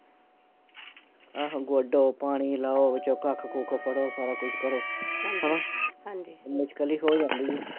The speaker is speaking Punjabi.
ਆਹੋ ਗੋਡੋਂ ਵਿੱਚੋਂ, ਪਾਣੀ ਲਾਓ, ਵਿੱਚੋਂ ਕੱਖ ਕੁੱਖ ਫੜੋ, ਸਾਰਾ ਕੁਸ਼ ਕਰੋ ਹੈਨਾ ਮੁਸ਼ਕਿਲ ਈ ਹੋ ਜਾਂਦੀ ਐ